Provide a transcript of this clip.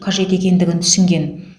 қажет екендігін түсінген